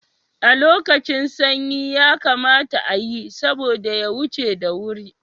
A lokacin sanyi yakamata ayi, saboda ya huce da wuri.